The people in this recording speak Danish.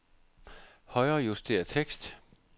Højrejuster tekst.